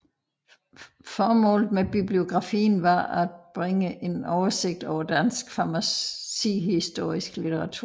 Formålet med bibliografien var at bringe en oversigt over dansk farmacihistorisk litteratur